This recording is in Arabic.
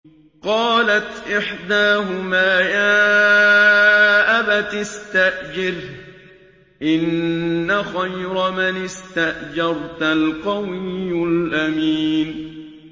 قَالَتْ إِحْدَاهُمَا يَا أَبَتِ اسْتَأْجِرْهُ ۖ إِنَّ خَيْرَ مَنِ اسْتَأْجَرْتَ الْقَوِيُّ الْأَمِينُ